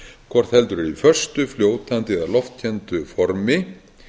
hvort heldur í föstu fljótandi eða loftkenndu formi